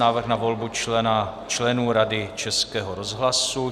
Návrh na volbu členů Rady Českého rozhlasu